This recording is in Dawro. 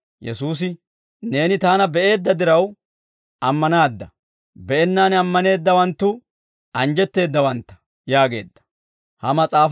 Yesuusi, «Neeni Taana be'eedda diraw ammanaadda; be'ennaan ammaneeddawanttu anjjetteeddawantta» yaageedda.